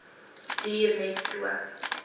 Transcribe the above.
duur net so